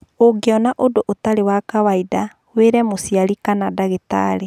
Ũngĩona ũndũ ũtarĩ wa kawaida, wĩre mũciari kana ndagĩtarĩ.